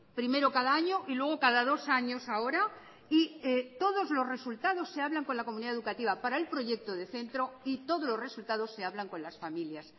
primero cada año y luego cada dos años ahora y todos los resultados se hablan con la comunidad educativa para el proyecto de centro y todos los resultados se hablan con las familias